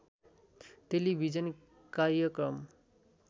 television कार्यक्रम